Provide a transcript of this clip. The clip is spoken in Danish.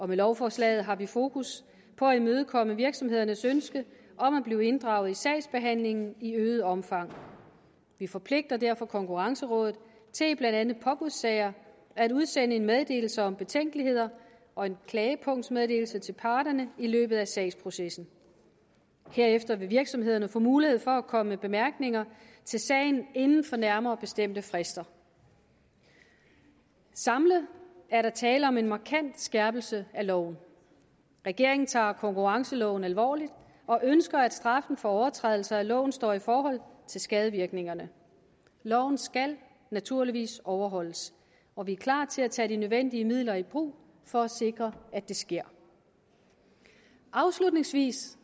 med lovforslaget har vi fokus på at imødekomme virksomhedernes ønske om at blive inddraget i sagsbehandlingen i øget omfang vi forpligter derfor konkurrencerådet til blandt andet i påbudssager at udsende en meddelelse om betænkeligheder og en klagepunktsmeddelelse til parterne i løbet af sagsprocessen herefter vil virksomhederne få mulighed for at komme med bemærkninger til sagen inden for nærmere bestemte frister samlet er der tale om en markant skærpelse af loven regeringen tager konkurrenceloven alvorligt og ønsker at straffen for overtrædelse af loven står i forhold til skadevirkningerne loven skal naturligvis overholdes og vi er klar til at tage de nødvendige midler i brug for at sikre at det sker afslutningsvis